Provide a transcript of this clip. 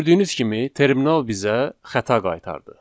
Gördüyünüz kimi terminal bizə xəta qaytardı.